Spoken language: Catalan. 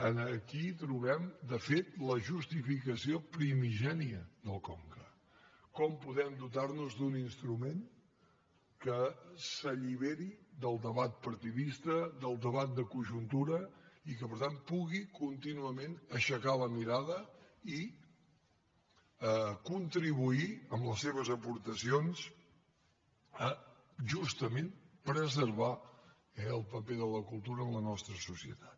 aquí trobem de fet la justificació primigènia del conca com podem dotar nos d’un instrument que s’alliberi del debat partidista del debat de conjuntura i que per tant pugui contínuament aixecar la mirada i contribuir amb les seves aportacions a justament preservar eh el paper de la cultura en la nostra societat